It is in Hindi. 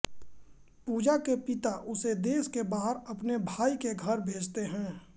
पूजा के पिता उसे देश के बाहर अपने भाई के घर भेजते हैं